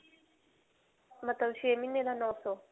ਮਤਲਬ ਛੇ ਮਹੀਨੇ ਦਾ ਨੌ ਸੌ.